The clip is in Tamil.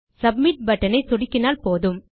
சப்மிட் பட்டன் ஐ சொடுக்கினால் போதும்